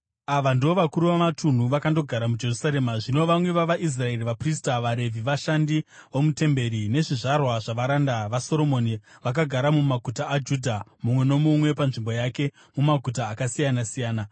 Ava ndivo vakuru vamatunhu vakandogara muJerusarema (zvino vamwe vavaIsraeri, vaprista, vaRevhi, vashandi vomutemberi nezvizvarwa zvavaranda vaSoromoni vakagara mumaguta aJudha, mumwe nomumwe panzvimbo yake mumaguta akasiyana-siyana,